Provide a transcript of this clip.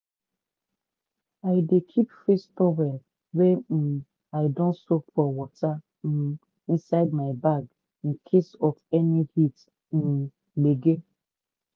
i dey keep face towel wey um i don soak for water um inside my bag in case of any heat um gbege